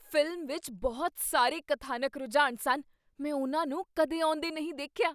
Film ਵਿੱਚ ਬਹੁਤ ਸਾਰੇ ਕਥਾਨਕ ਰੁਝਾਨ ਸਨ! ਮੈਂ ਉਨ੍ਹਾਂ ਨੂੰ ਕਦੇ ਆਉਂਦੇਨਹੀਂ ਦੇਖਿਆ।